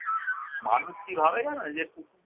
মানুষ কী ভাবে জানো? এই যে কুকুর